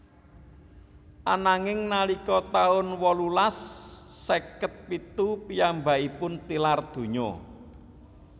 Ananging nalika taun wolulas seket pitu piyambakipun tilar donya